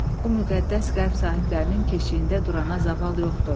O müqəddəs qəlb sahiblərinin keşiyində durana zaval yoxdur.